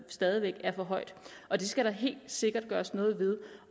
stadig væk er for højt og det skal der helt sikkert gøres noget ved